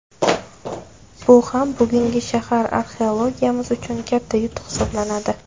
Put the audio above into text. Bu ham bugungi shahar arxeologiyamiz uchun katta yutuq hisoblanadi”.